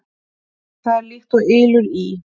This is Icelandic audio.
Það er líkt og ylur í